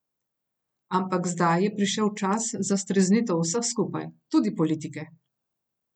Ampak zdaj je prišel čas za streznitev vseh skupaj, tudi politike.